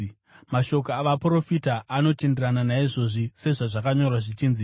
Mashoko avaprofita anotenderana naizvozvi, sezvazvakanyorwa zvichinzi: